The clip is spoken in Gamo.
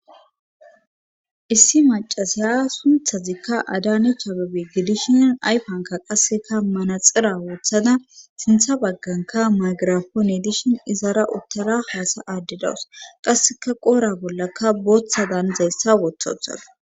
issi macasaya sunthazikka adanech abebe gidishin ayfanka qasseka manaxira woothada sintha bagganka magirapoone dishin izara uttara haasa aaddidawus qasseka qoora bollakka booththadan zayssa wothauthadaus